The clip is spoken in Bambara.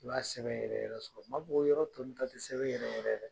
I b'a sɛ yɛrɛ yɛrɛ sɔrɔ . N ma fɔ ko yɔrɔ tɔ nunnu ta tɛ sɛbɛ yɛrɛ yɛrɛ ye dɛ!